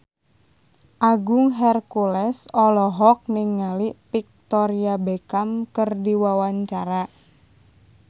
Agung Hercules olohok ningali Victoria Beckham keur diwawancara